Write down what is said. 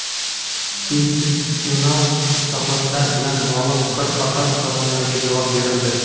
institutsional islohotlar bilan bog‘liq bir qator savollariga javob berildi.